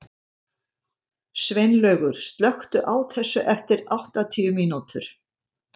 Sveinlaugur, slökktu á þessu eftir áttatíu mínútur.